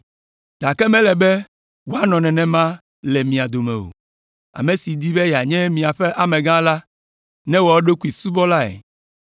Gake mele be wòanɔ nenema le mia dome o, ame si di be yeanye miaƒe amegã la, newɔ eɖokui subɔlae.